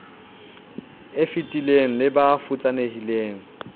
e fetileng le ba futsanehileng